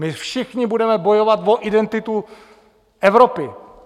My všichni budeme bojovat o identitu Evropy.